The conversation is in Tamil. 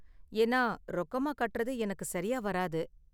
ஏன்னா ரொக்கமா கட்டுறது எனக்கு சரியா வராது.